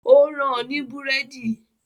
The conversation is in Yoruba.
Ó rán an ní Búrẹ́dì